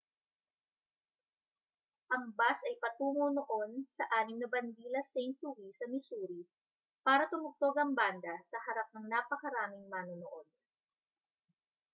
ang bus ay patungo noon sa anim na bandila st louis sa missouri para tumugtog ang banda sa harap ng napakaraming manonood